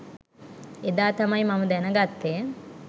එදා තමයි මම දැනගත්තෙ.